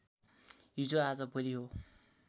हिजो आज भोलि हो